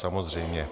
Samozřejmě.